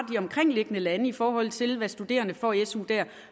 omkringliggende lande i forhold til hvad studerende får i su der